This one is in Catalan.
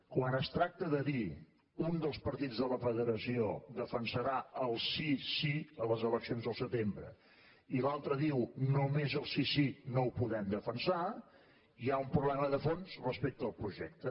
quan es tracta de dir un dels partits de la federació defensarà el sí sí a les eleccions al setembre i l’altre diu només el sí sí no ho podem defensar hi ha un problema de fons respecte al projecte